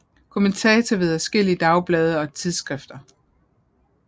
Kommentator ved adskillige dagblade og tidsskrifter